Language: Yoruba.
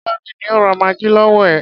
Tọ́lání ni ó ra maggi lọwọ ẹ.